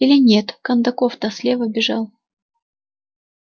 или нет кондаков то слева бежал